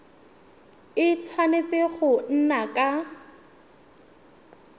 a tshwanetse go nna ka